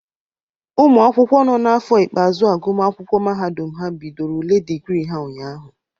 Ụmụ akwụkwọ nọ n'afọ ikpeazu agụmakwụkwọ mahadụm ha bidoro ule dịgrị ha ụnyaahụ.